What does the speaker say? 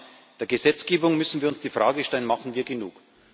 Im Rahmen der Gesetzgebung müssen wir uns die Frage stellen Machen wir genug?